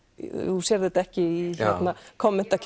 þú sérð þetta ekki í